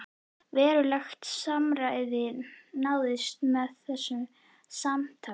Verulegt samræmi náðist með þessu samstarfi.